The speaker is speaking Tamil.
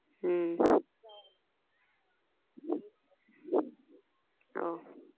அஹ் ஆஹ்